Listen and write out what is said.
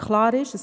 Klar ist aber: